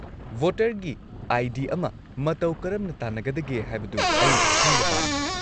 -ꯚꯣꯇꯔꯒꯤ ID. ꯑꯃ ꯃꯇꯧ ꯀꯔꯝꯅ ꯇꯥꯟꯅꯒꯗꯒꯦ ꯍꯥꯏꯕꯗꯨ ꯑꯩ ꯈꯪꯕ ꯄꯥꯝꯃꯤ ꯫